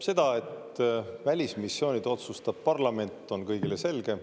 Seda, et välismissioonid otsustab parlament, on kõigile selge.